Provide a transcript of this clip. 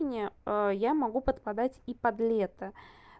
я могу попадать и под лето